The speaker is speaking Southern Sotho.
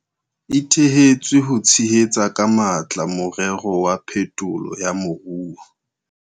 E thehetswe ho tshehetsa ka matla morero wa phetolo ya moruo.